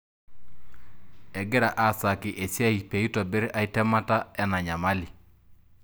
Egira asaki esiai peitobir ae temata enanyamali.